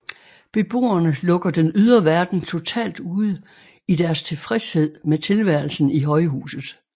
Beboerne lukker den ydre verden totalt ude i deres tilfredshed med tilværelsen i højhuset